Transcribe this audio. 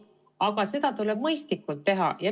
Aga seda tuleb teha mõistlikult.